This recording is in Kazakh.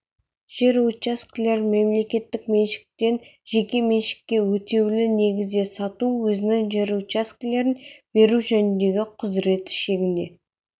жер учаскелерін мемлекеттік меншіктен жеке меншікке өтеулі негізде сату өзінің жер учаскелерін беру жөніндегі құзыреті шегінде